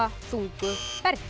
þungu fargi